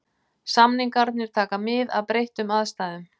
Samningarnir taka mið af breyttum aðstæðum.